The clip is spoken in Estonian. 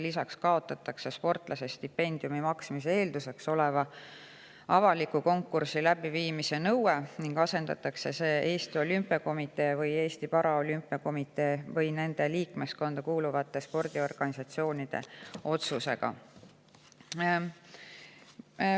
Lisaks kaotatakse sportlase stipendiumi maksmise eelduseks oleva avaliku konkursi läbiviimise nõue ning asendatakse see Eesti Olümpiakomitee või Eesti Paraolümpiakomitee või nende liikmeskonda kuuluvate spordiorganisatsioonide otsusega.